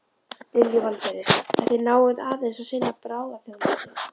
Lillý Valgerður: En þið náið aðeins að sinna bráðaþjónustu?